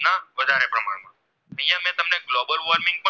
Global worming પણ ને